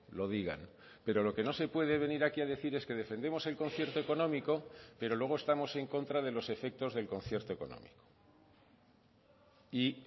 lo digan pero lo que no se puede venir aquí a decir es que defendemos el concierto económico pero luego estamos en contra de los efectos del concierto económico y